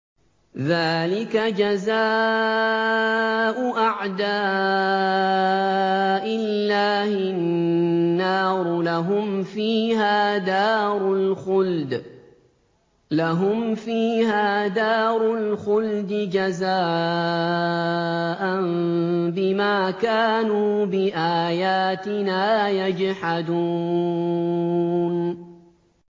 ذَٰلِكَ جَزَاءُ أَعْدَاءِ اللَّهِ النَّارُ ۖ لَهُمْ فِيهَا دَارُ الْخُلْدِ ۖ جَزَاءً بِمَا كَانُوا بِآيَاتِنَا يَجْحَدُونَ